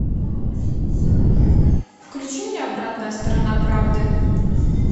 включи мне обратная сторона правды